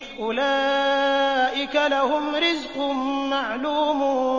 أُولَٰئِكَ لَهُمْ رِزْقٌ مَّعْلُومٌ